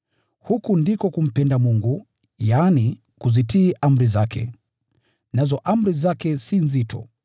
Huku ndiko kumpenda Mungu, yaani, kuzitii amri zake. Nazo amri zake si nzito.